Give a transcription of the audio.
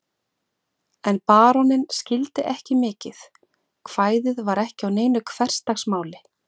En baróninn skildi ekki mikið, kvæðið var ekki á neinu hversdagsmáli.